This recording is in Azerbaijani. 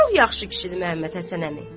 Çox yaxşı kişidir Məhəmməd Həsən əmi.